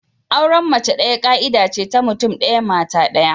Auren mace daya ka'ida ce ta mutum daya, mata daya.